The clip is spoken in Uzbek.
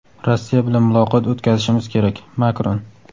Rossiya bilan muloqot o‘tkazishimiz kerak – Makron.